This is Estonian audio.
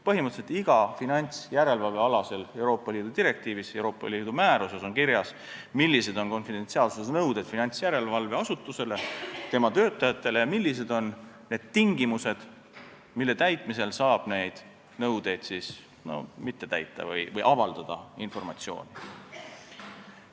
Põhimõtteliselt on igas finantsjärelevalvealases Euroopa Liidu direktiivis ja määruses kirjas, millised on finantsjärelevalveasutuse ja selle töötajate konfidentsiaalsusnõuded ning millised on need tingimused, mille korral saab neid nõudeid mitte täita või informatsiooni avaldada.